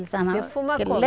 Defuma como?